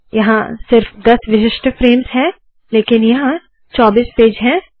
यहाँ सिर्फ दस विशिष्ट फ्रेम्स है लेकिन यहाँ 24 पेज है